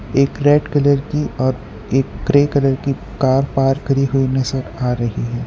एक red colour की और एक ग्रे कलर की कार पार्क करी हुई नजर आ रही है।